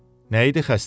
Nəydi xəstənin?